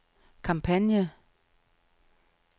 kampagne